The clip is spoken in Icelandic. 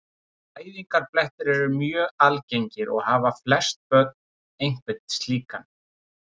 Fæðingarblettir eru mjög algengir og hafa flest börn einhvern slíkan.